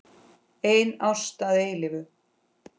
Ein ást að eilífu.